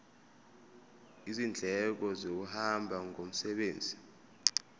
izindleko zokuhamba ngomsebenzi